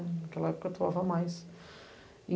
Naquela época, mais.